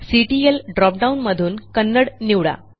CTL ड्रॉपडाऊनमधून कन्नडा निवडा